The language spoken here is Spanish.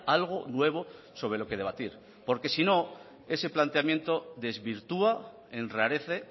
algo nuevo sobre lo que debatir porque si no ese planteamiento desvirtúa enrarece